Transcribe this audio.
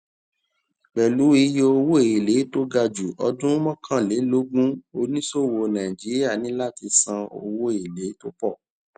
pẹlú iye owó èlé tó ga ju ọdún mọkànlélógún oníṣòwò nàìjíríà ní láti san owó èlé tó pọ